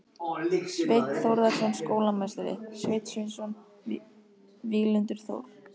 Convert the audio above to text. Sveinn Þórðarson skólameistari, Sveinn Sveinsson, Víglundur Þór